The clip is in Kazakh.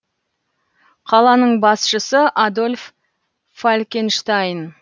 қаланың басшысы адольф фалькенштайн